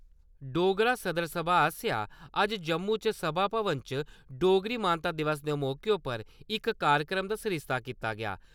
डोगरा सदर सभा आस्सेआ अज्ज जम्मू च सभा भवन च , डोगरी मानता दिवस दे मौके उप्पर इक कार्यक्रम दा सरिस्ता कीता गेआ।